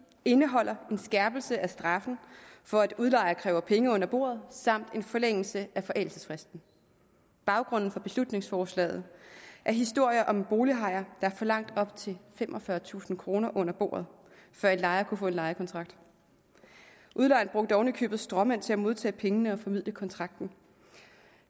indeholder en skærpelse af straffen for at udlejere kræver penge under bordet samt en forlængelse af forældelsesfristen baggrunden for beslutningsforslaget er historier om en bolighaj der forlangte op til femogfyrretusind kroner under bordet før en lejer kunne få en lejekontrakt udlejeren brugte oven i købet stråmænd til at modtage pengene og formidle kontrakten